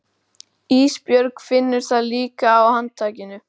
Ísbjörg finnur það líka á handtakinu.